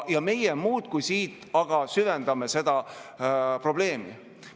Ja meie siin muudkui aga süvendame seda probleemi.